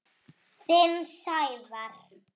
Þinn, Sævar.